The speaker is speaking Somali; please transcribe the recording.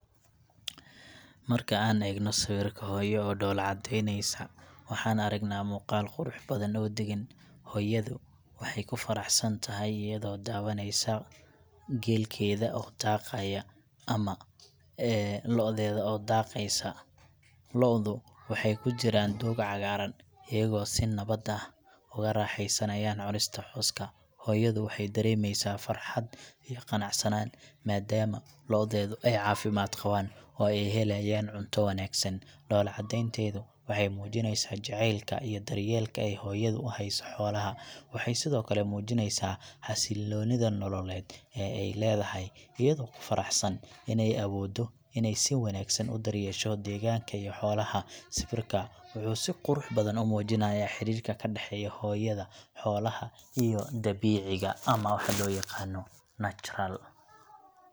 Marka an egno sawirka hoyo oo dolacadeyneyso, waxan aragna mugaal qurux badan oo dagan, hoyadu waxa kufaraxsantaxay iyado dawaneyso, geelkeda oo daqaya ama eexodeda oo daqeysa, loodu waxay kujiran doog cagaran, iyago si nabat ah oguraxeysanaya cunista cooska, hoyadu waxay daremeysa farxad iyo qanacsanan, madaama loodedu ay cafimad qawan, oo ay xelaya cunto wanagsan, dolacadentedu waxay mujineysa jacelk iyo daryelka aya hoyadu uxayso holaaxa, waxay Sidhokale ay mujineysaa, xasilonida nololed, ee ay ledaxay, iyado kufaraxsan inay awodo inay si wanagsan u daryesho deganka iyo xolaha, siwirka muxu si qurux badan, umujinaya xirika kadaxeyo hoyada, xolaha iyo dabeciga, ama waxa loyaqano natural.